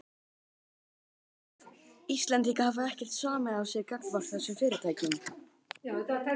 Kristján: Íslendingar hafa ekkert samið af sér gagnvart þessum fyrirtækjum?